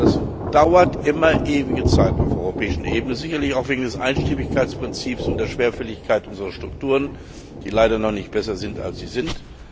Das dauert immer ewige Zeiten auf der europäischen Ebene, sicherlich auch wegen des Einstimmigkeitprinzips und der Schwerfälligkeit unserer Strukturen, die leider noch nicht besser sind, als sie sind.